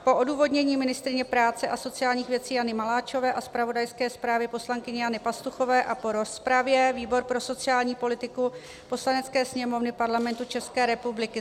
Po odůvodnění ministryně práce a sociálních věcí Jany Maláčové a zpravodajské zprávě poslankyně Jany Pastuchové a po rozpravě výbor pro sociální politiku Poslanecké sněmovny Parlamentu České republiky